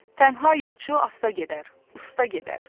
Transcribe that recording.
Tənha yolçu asta gedər, usta gedər.